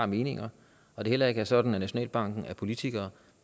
meninger og det heller ikke er sådan at nationalbanken er politikere